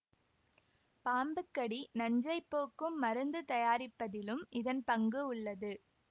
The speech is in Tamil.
பாம்பு கடி நஞ்சைப் போக்கும் மருந்து தயாரிப்பதிலும் இதன் பங்கு உள்ளது